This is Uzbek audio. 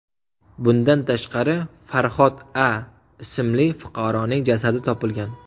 Bundan tashqari, Farhod A. ismli fuqaroning jasadi topilgan.